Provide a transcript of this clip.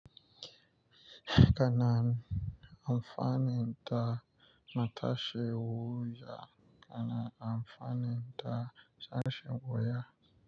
Kana amfani da matashi wuya, kana amfani da sashen wuya.